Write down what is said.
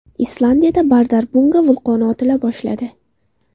Islandiyada Bardarbunga vulqoni otila boshladi.